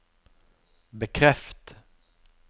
bekreft